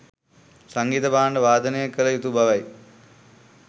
සංගීත භාණ්ඩ වාදනය කළ යුතු බවයි.